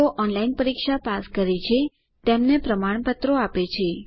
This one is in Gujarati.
જેઓ ઓનલાઇન પરીક્ષા પાસ કરે છે તેમને પ્રમાણપત્ર આપે છે